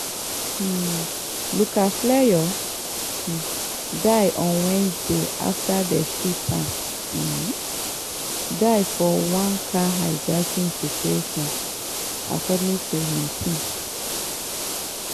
um luke fleurs um die on wednesday afta dem shoot am um dead for one car hijacking situation according to im team.